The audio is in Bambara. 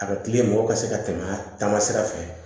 A ka kili mɔgɔw ka se ka tɛmɛ a taama sira fɛ